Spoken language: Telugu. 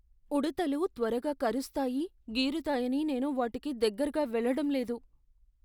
ఉడుతలు త్వరగా కరుస్తాయి, గీరుతాయని నేను వాటికి దగ్గరగా వెళ్ళడం లేదు .